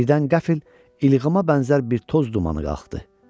Birdən qəfil ilğıma bənzər bir toz dumanı qalxdı.